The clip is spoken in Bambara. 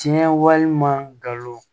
Tiɲɛ walima galon